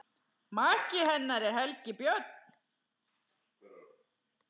Maki hennar er Helgi Björn.